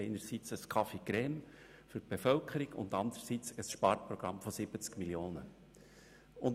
Wir haben einerseits einen Café Crème für die Bevölkerung und andererseits ein Sparprogramm von 70 Mio. Franken.